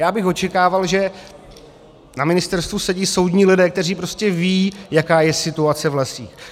Já bych očekával, že na ministerstvu sedí soudní lidé, kteří prostě vědí, jaká je situace v lesích.